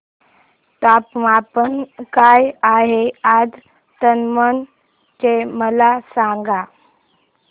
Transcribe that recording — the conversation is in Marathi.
तापमान काय आहे आज दमण चे मला सांगा